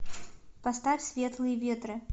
поставь светлые ветры